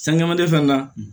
San man tɛ fɛn kan